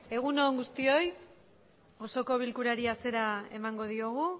egun on guztioi osoko bilkurari hasiera emango diogu